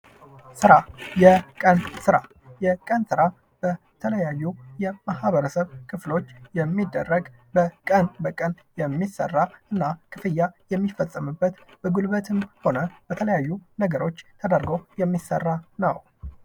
ስራ፦ የቀን ስራ፦ የቀን ስራ በተለያዩ ማህበረስብ ክፍሎች የሚደረግ በቀን በቀን የሚሰራ እና ክፍያ የሚፈጸምበት እና በጉልበትም ሆነ በተለያዩ ነገሮች የሚሰራ ነው።